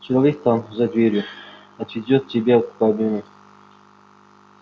человек там за дверью отведёт тебя в кабину